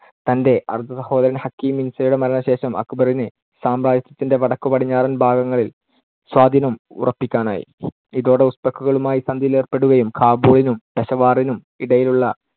തന്‍ടെ അർദ്ധസഹോദരൻ ഹക്കീം മിർസയുടെ മരണശേഷം അക്ബറിന് സാമ്രാജ്യത്തിന്‍ടെ വടക്കുപടീഞ്ഞാറൻ ഭാഗങ്ങളിൽ സ്വാധീനം ഉറപ്പിക്കാനായി. ഇതോടെ ഉസ്ബെക്കുകളുമായി സന്ധിയിലേർപ്പെടുകയും, കാബൂളിനും പെഷവാറിനും ഇടയിലുള്ള